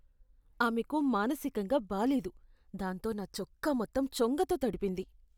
ఆమెకు మానసికంగా బాలేదు, దాంతో నా చొక్కా మొత్తం చొంగతో తడిపింది.